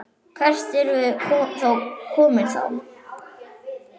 Hvert erum við komin þá?